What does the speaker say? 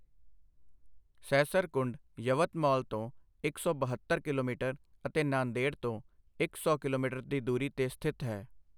ਸਹਸਰਕੁੰਡ ਯਵਤਮਾਲ ਤੋਂ ਇੱਕ ਸੌ ਬਹੱਤਰ ਕਿਲੋਮੀਟਰ ਅਤੇ ਨਾਂਦੇੜ ਤੋਂ ਇੱਕ ਸੌ ਕਿਲੋਮੀਟਰ ਦੀ ਦੂਰੀ 'ਤੇ ਸਥਿਤ ਹੈ।